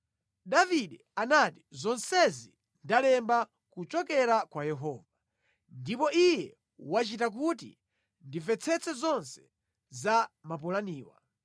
Davide anati, “Zonsezi ndalemba kuchokera kwa Yehova, ndipo Iye wachita kuti ndimvetsetse zonse za mapulaniwa.”